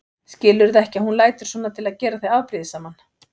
Skilurðu ekki að hún lætur svona til að gera þig afbrýðisaman?